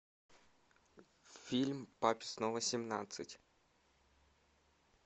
фильм папе снова семнадцать